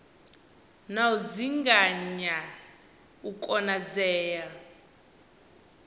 na u dzinginya u konadzea